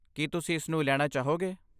ਕੀ ਤੁਸੀਂ ਇਸਨੂੰ ਲੈਣਾ ਚਾਹੋਗੇ?